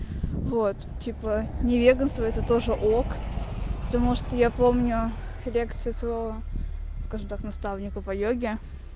вот типа не веганство это тоже ок потому что я помню лекцию своего скажем так наставника по йоге